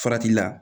Farati la